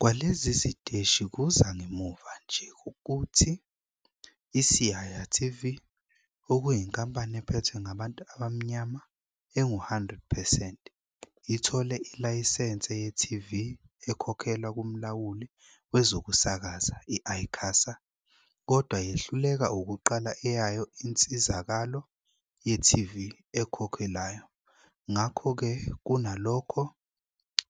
Kwalezi ziteshi kuza ngemuva nje kokuthi iSiyaya TV, okuyinkampani ephethwe ngabantu abamnyama engu-100 percent, ithole ilayisense ye-TV ekhokhelwa kumlawuli wezokusakaza i-ICASA kodwa yehluleka ukuqala eyayo insizakalo ye-TV ekhokhelwayo, ngakho-ke, kunalokho